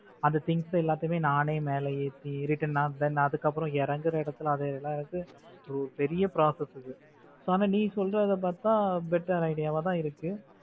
அந்த things எல்லாத்தையும் நானே மேலே ஏத்தி return நான் அதுக்கப்புறம் இறக்கிற இடத்துல அது எல்லா இது பெரிய process அது ஆனா நீ சொல்றத பாத்தா better idea வா தான் இருக்கு